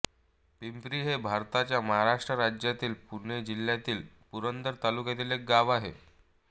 पिंपरी हे भारताच्या महाराष्ट्र राज्यातील पुणे जिल्ह्यातील पुरंदर तालुक्यातील एक गाव आहे